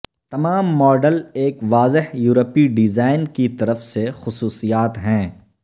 تمام ماڈل ایک واضح یورپی ڈیزائن کی طرف سے خصوصیات ہیں